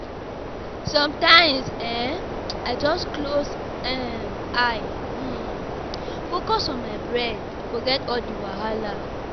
Sometimes um I just close um eye, um focus on my breath, forget all the wahala.